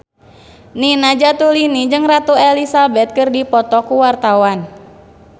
Nina Zatulini jeung Ratu Elizabeth keur dipoto ku wartawan